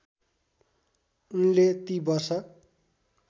उनले ती वर्ष